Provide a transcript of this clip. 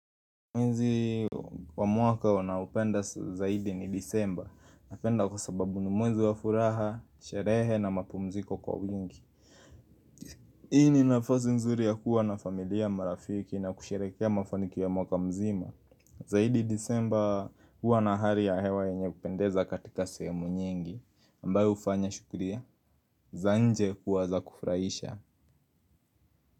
Mwezi wa mwaka wanaopenda zaidi ni disemba Napenda kwa sababu ni mwezi wa furaha, sherehe na mapumziko kwa wingi Hii ni nafasi nzuri ya kuwa na familia marafiki na kusherekea mafanikio ya mwaka mzima Zaidi disemba kuwa na hali ya hewa yenye kupendeza katika semu nyingi ambayo hufanya shughuli za nje kuwa za kufraisha.